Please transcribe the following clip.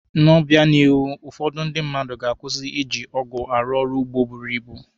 N'obịanihu, ụfọdụ ndị ga-akwụsị iji ọgụ arụ ọrụ ugbo buru ibu.